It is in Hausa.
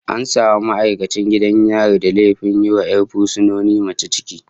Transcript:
An samu ma'aikacin gidan yari da laifin yiwa 'yar fursuna mace ciki